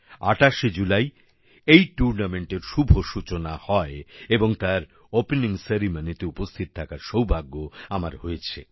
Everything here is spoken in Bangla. ২৮শে জুলাই এই টুর্নামেন্টের শুভ সূচনা হয় এবং তার ওপেনিং সেরিমনিতে উপস্থিত থাকার সৌভাগ্য আমার হয়েছে